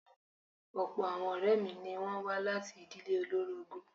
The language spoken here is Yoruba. Ọ̀pọ̀ àwọn ọ̀rẹ́ mi ni wọ́n wá láti ìdíle olórogún.